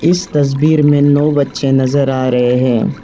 इस तस्वीर में नौ बच्चे नजर आ रहे हैं।